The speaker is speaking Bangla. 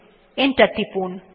এন্টার টিপুন